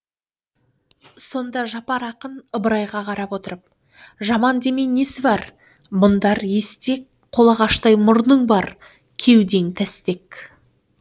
сонда жапар ақын ыбырайға қарап отырып жаман демей несі бар мұндар естек қолағаштай мұрның бар кеуден тәстек